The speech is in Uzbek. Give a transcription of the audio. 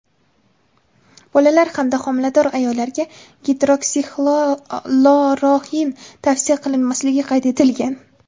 bolalar hamda homilador ayollarga Gidroksixloroxin tavsiya qilinmasligi qayd etilgan.